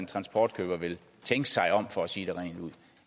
transportkøber vil tænke sig om for at sige det rent ud